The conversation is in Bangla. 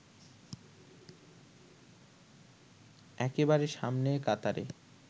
একেবারে সামনের কাতারে